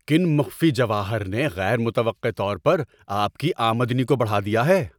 کن مخفی جواہر نے غیر متوقع طور پر آپ کی آمدنی کو بڑھا دیا ہے؟